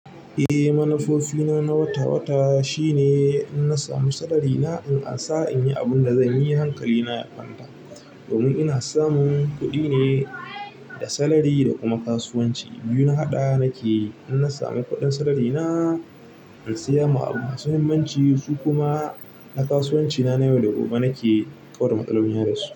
Eh, manufofina na wata-wata shine in na samu salarina in ansa in yi abin da zan yi hankalina ya kwanta. Domin ina samun kuɗi ne da salari da kuma kasuwanci. Biyu na haɗa nake, in na sami kuɗin salarina in saya ma abubuwa masu muhimmanci, su kuma na kasuwancina na yau da gobe nake kau da matsalolina ya dasu.